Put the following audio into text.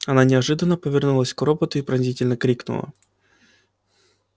она неожиданно повернулась к роботу и пронзительно крикнула